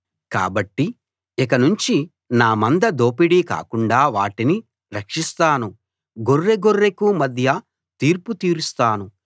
కాబట్టి ఇకనుంచి నా మంద దోపిడీ కాకుండా వాటిని రక్షిస్తాను గొర్రె గొర్రెకూ మధ్య తీర్పు తీరుస్తాను